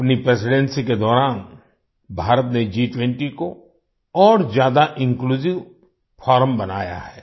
अपनी प्रेसिडेंसी के दौरान भारत ने G20 को और ज्यादा इन्क्लूसिव फोरम बनाया है